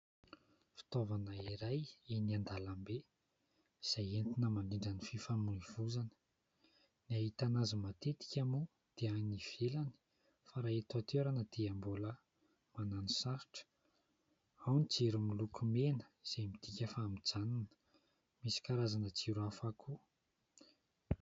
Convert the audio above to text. Fitaovana iray eny an-dalambe izay entina mandrindra ny fifamoivoizana. Ny ahitana azy matetika moa dia any ivelany fa raha eto an-toerana dia mbola manano sarotra ; ao ny jiro miloko mena izay midika fa mijanona, misy karazana jiro hafa koa.